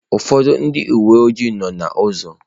Ụfọdụ ndị uwe ojii nọ n'ụzọ.